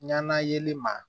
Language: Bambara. Ɲana yeli ma